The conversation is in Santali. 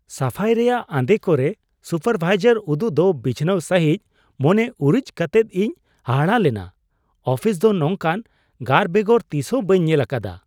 ᱥᱟᱯᱷᱟᱭ ᱨᱮᱭᱟᱜ ᱟᱸᱫᱮ ᱠᱚᱨᱮ ᱥᱩᱯᱟᱨ ᱵᱷᱟᱭᱡᱟᱨ ᱩᱫᱩᱜ ᱫᱚ ᱵᱤᱪᱷᱱᱟᱹᱣ ᱥᱟᱹᱦᱤᱡ ᱢᱚᱱᱮ ᱩᱨᱤᱡ ᱟᱛᱮᱫ ᱤᱧ ᱦᱟᱦᱟᱲᱟᱜ ᱞᱮᱱᱟ ᱾ ᱚᱯᱷᱤᱥ ᱫᱚ ᱱᱚᱝᱠᱟᱱ ᱜᱟᱨ ᱵᱮᱜᱚᱨ ᱛᱤᱥ ᱦᱚᱸ ᱵᱟᱹᱧ ᱧᱮᱞ ᱟᱠᱟᱫᱟ ᱾